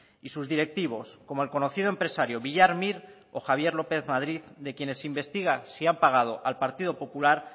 y sus directivos como el conocido empresario villar mir o javier lópez madrid de quienes se investiga si han pagado al partido popular